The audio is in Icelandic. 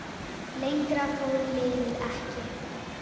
Lengra fór liðið ekki.